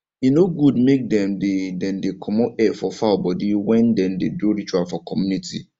e no good make dem dey dem dey comot hair for fowl body wen dem dey do ritual for community